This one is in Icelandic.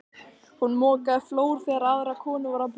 Hún mokaði flór þegar aðrar konur voru að prjóna.